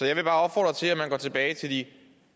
jeg vil bare opfordre til at man går tilbage til de